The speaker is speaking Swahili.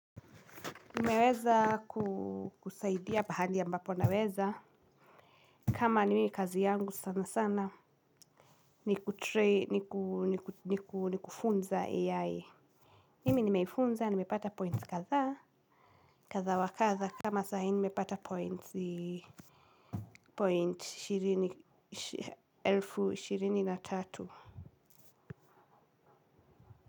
Umeweza kusaidia pahali ya ambapo naweza. Kama ni mimi kazi yangu sana sana. Ni, kufunza AI. Mimi nimeifunza nimepata point kadhaa. Kadha wakadha kama sahi nimepata pointi, point ishirini, elfu ishirini na tatu.